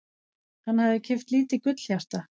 Hann hafði keypt lítið gullhjarta.